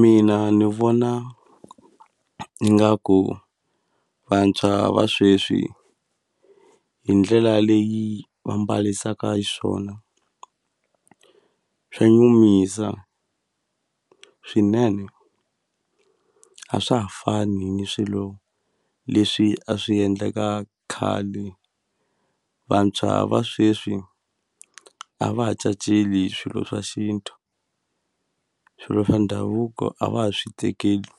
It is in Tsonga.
Mina ni vona ingaku vantshwa va sweswi hi ndlela leyi va mbalisaka swona swa nyumisa swinene a swa ha fani ni swilo leswi a swi endleka khale vantshwa va sweswi a va ha caceli swilo swa xintu swilo swa ndhavuko a va ha swi tekeli